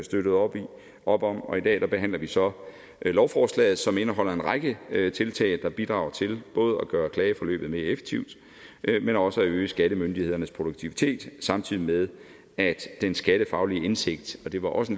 støttede op op om og i dag behandler vi så lovforslaget som indeholder en række tiltag der bidrager til både at gøre klageforløbet mere effektivt men også at øge skattemyndighedernes produktivitet samtidig med at den skattefaglige indsigt det var også